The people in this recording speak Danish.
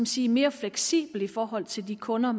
sige mere fleksibel i forhold til de kunder